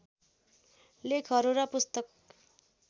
लेखहरू र पुस्तक